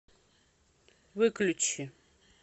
выключи